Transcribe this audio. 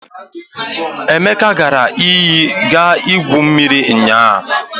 Emeka gara iyi iga gwuo mmiri ụnyaahụ.